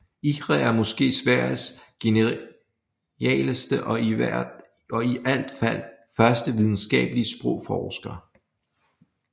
Ihre er måske Sveriges genialeste og i alt fald første videnskabelige sprogforsker